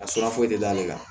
A sira foyi tɛ d'ale kan